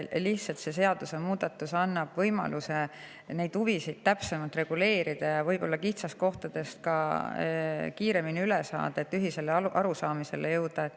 Lihtsalt see seadusemuudatus annab võimaluse neid huvisid täpsemalt reguleerida ja võib-olla ka kitsaskohtadest kiiremini üle saada, et ühisele arusaamisele jõuda.